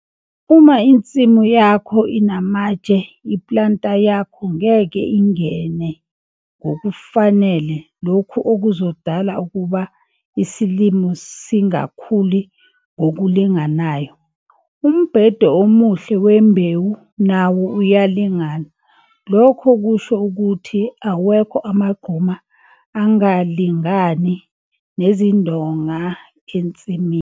Uma insimu yakho inamatshe i-planter yakho ngeke ingene ngokufanele lokho okuzodala ukuba isilimo singakhuli ngokulinganayo. Umbhede omuhle wembewu nawo uyalingana, lokho kusho ukuthi awekho amagquma angalingani nezindonga ensimini.